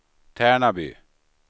Tärnaby